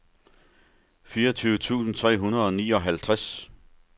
fireogtyve tusind tre hundrede og nioghalvtreds